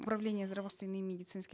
управление медицинские